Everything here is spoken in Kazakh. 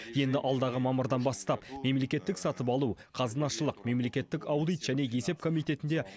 енді алдағы мамырдан бастап мемлекеттік сатып алу қазынашылық мемлекеттік аудит және есеп комитетінде